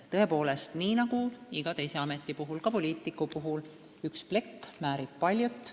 Tõepoolest, nii nagu iga teise ameti puhul, ka poliitiku puhul, üks plekk määrib paljut.